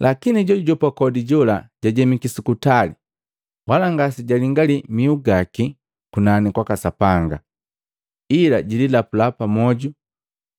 Lakini jojujopa kodi jola jajemiki sukutali wala ngasejalingali mihu gaki kunani kwaka Sapanga, ila jililapula pamoju